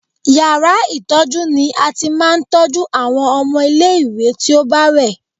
Yàrá ìtọ́jú ni a ti máa ń tọ́jú àwọn ọmọ ilé-ìwé tí ó bá rẹ̀